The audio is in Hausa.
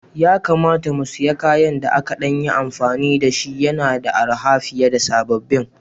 Ya kamata mu sayi kayan da aka ɗan yi amfani da shi, yana da arha fiye da sababbin